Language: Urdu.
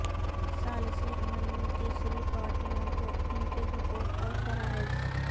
ثالثی عمل میں تیسری پارٹیوں کو ان کے حقوق اور فرائض